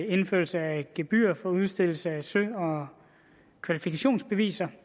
indførelse af et gebyr for udstedelse af sø og kvalifikationsbeviser